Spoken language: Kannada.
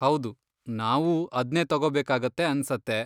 ಹೌದು, ನಾವೂ ಅದ್ನೇ ತಗೋಬೇಕಾಗತ್ತೆ ಅನ್ಸತ್ತೆ.